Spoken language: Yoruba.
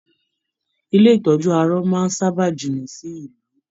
Ilé ìtọjú arọ máa n sábà jìnnà sí ìlú.